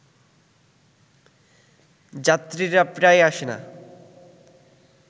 যাত্রীরা প্রায়ই আসে না